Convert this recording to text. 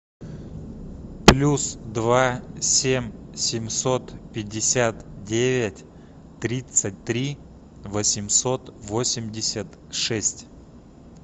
плюс два семь семьсот пятьдесят девять тридцать три восемьсот восемьдесят шесть